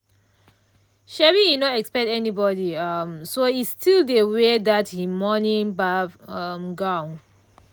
um e no expect anybody um so e still dey wear that him morning baff um gown.